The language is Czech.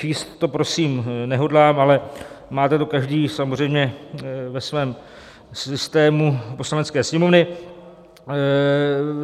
Číst to prosím nehodlám, ale máte to každý samozřejmě ve svém systému Poslanecké sněmovny;